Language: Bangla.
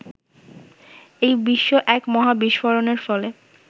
এই বিশ্ব এক মহাবিস্ফোরণের ফলে